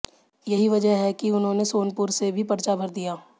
यही वजह है कि उन्होंने सोनपुर से भी पर्चा भर दिया